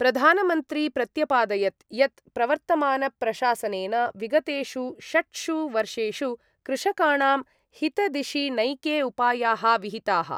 प्रधानमन्त्री प्रत्यपादयत् यत् प्रवर्तमानप्रशासनेन विगतेषु षट्सु वर्षेषु कृषकाणां हितदिशि नैके उपायाः विहिताः।